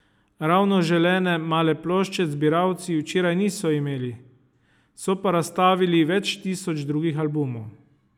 Ravno želene male plošče zbiralci včeraj niso imeli, so pa razstavili več tisoč drugih albumov.